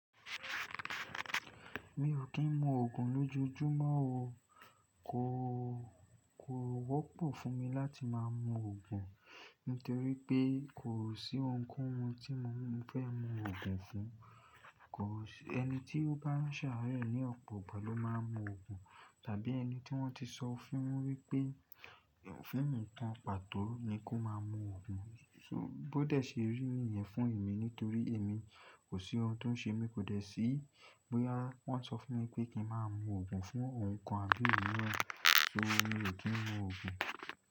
Mi ò kí ń mu òògùn lójojúmọ́ o. Kò, kò wọ́pọ̀ fún mi láti máa mu òògùn, nítorí pé kò sí ohunkóhun tí mo fẹ́ mu òògùn fún. Kò sí ẹni tí ó bá ń ṣàráẹ̀ ní ọ̀pọ̀ ìgbà ló máa ń mu òògùn, tàbí ẹni tí wọ́n ti sọ fún wípé òfin mìíràn pàtó ni kó máa mu òògùn. So bó dẹ̀ ṣe rí ni yẹn fún èmi nítorí èmi kò sí ohun tó ń ṣe mí, kò dẹ̀ sí bóyá wọ́n ṣọ fún mi wípé kí n máa mu òògùn fún ohun kan àbí ìmíran, so mi ò kí ń mu òògùn.